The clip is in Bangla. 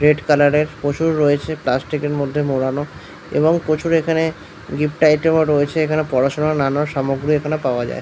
রেড কালার এর প্রচুর রয়েছে প্লাস্টিক এর মধ্যে মোড়ানো এবং প্রচুর এখানে গিফট আইটেম রয়েছে এখানে পড়াশোনা নানারকম সামগ্রী এখানে পাওয়া যায়। ।